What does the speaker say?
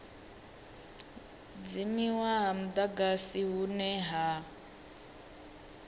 dzimiwa ha mudagasi hune ha